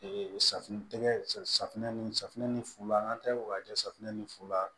safunɛ tɛgɛ safunɛ ni safinɛ ni fula an ka taa o ka jɛ safunɛ ni fula